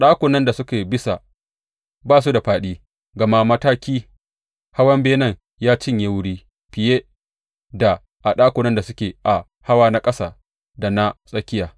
Ɗakunan da suke bisa ba su da fāɗi, gama mataki hawan benen ya cinye wuri fiye da a ɗakunan da suke a hawa na ƙasa da na tsakiya.